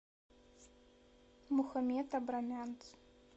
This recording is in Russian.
мухаммед абрамянц